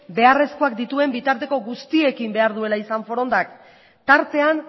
beharrezkoak dituen bitarteko guztiekin behar duela izan forondak tartean